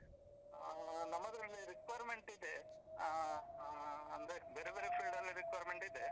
ಹ ನಮ್ಮದ್ರಲ್ಲಿ requirement ಇದೆ ಆ ಆ ಅಂದ್ರೆ ಬೇರೆ ಬೇರೆ field ಅಲ್ಲಿ requirement ಇದೆ.